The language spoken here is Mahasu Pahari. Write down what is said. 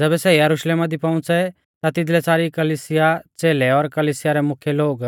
ज़ैबै सै यरुशलेमा दी पौउंच़ै ता तिदलै सारी कलिसिया च़ेलै और कलिसिया रै मुख्यै लोग